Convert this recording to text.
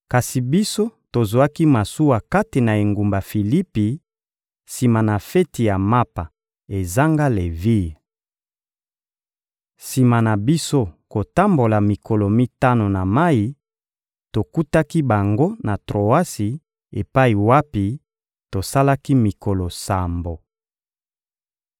Kasi biso tozwaki masuwa kati na engumba Filipi, sima na feti ya Mapa ezanga levire. Sima na biso kotambola mikolo mitano na mayi, tokutaki bango na Troasi epai wapi tosalaki mikolo sambo.